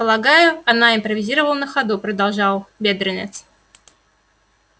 полагаю она импровизировала на ходу продолжал бедренец